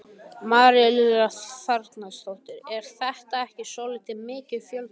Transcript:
María Lilja Þrastardóttir: Er þetta ekki svolítið mikill fjöldi?